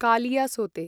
कालियासोते